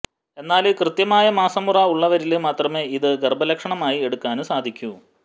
എന്നാല് കൃത്യമായ മാസമുറ ഉളളവരില് മാത്രമെ ഇത് ഗര്ഭലക്ഷണമായി എടുക്കാന് സാധിക്കൂ